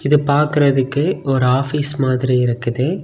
இது பாக்குறதுக்கு ஒரு ஆபீஸ் மாதிரி இருக்குது.